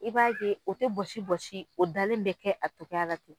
I b'a ye o tɛ bɔsi bɔsi o dalen bɛ kɛ a togoyara ten.